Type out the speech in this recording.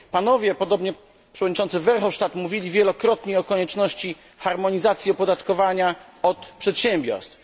Panowie, podobnie przewodniczący Verhofstadt, mówili wielokrotnie o konieczności harmonizacji opodatkowania od przedsiębiorstw.